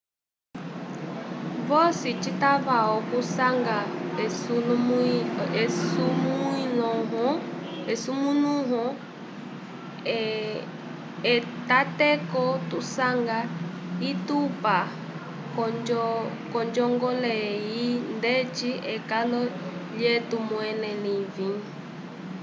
vosi citava okusanga esumulũho etateko tusanga itupa k'onjongole eyi ndeti ekalo lyetu mwẽle livĩ